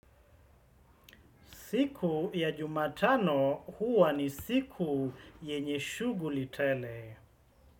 Siku ya jumatano huwa ni siku yenye shughuli tele.